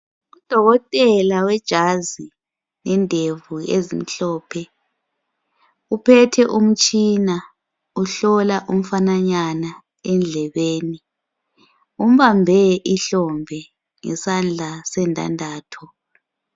Udokotela wejazi lendevu ezimhlophe uphethe umtshina uhlola umfananyana edlebeni umbambe ihlombe ngesandla sendandatho.